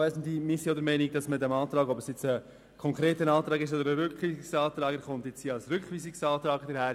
Auch wir sind der Meinung, dass dieser Antrag – sei es als konkreter Antrag oder als Rückweisungsantrag – abzulehnen ist.